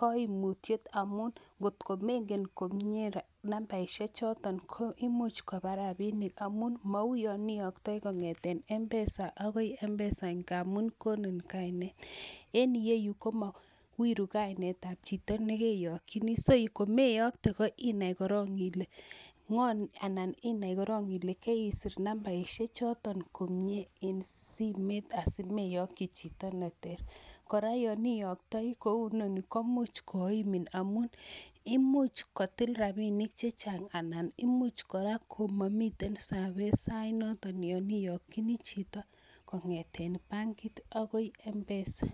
koimutiet amuun ng'otkomeng'en komnyee nambaishechoton ko imuuch kobaa rabinik amun mauyon iyoktoi kong'eten mpesa akoi mpesa ng'amun konin kainet, en iyeyuu komowiru kainetab chito nekeyokyini, so komeyoktee ko inai korong ilee ngo anan inai korong ilee keisir nambaishe choton komnyee en simeit asimeyokyii chito neteer, kora yon iyoktoi kounoni komuuch koimin amun imuch kotil rabinik chechang anan imuch kora komomiten service sainoton yoon iyokyinii chito kongeten bankit akoi mpesa.